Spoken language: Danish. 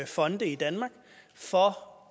fonde i danmark for